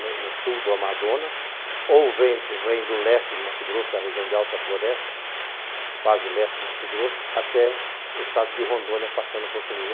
no sul do Amazonas, ou vem do leste de Mato Grosso, da região de Alta Floresta, quase leste de Mato Grosso, até o estado de Rondônia, passando por Conilhas.